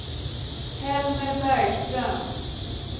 Helmer Bergström